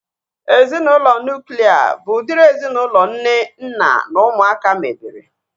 Ezinaụlọ nuklia bụ udiri ezinaụlọ nne, nna na ụmụaka mebere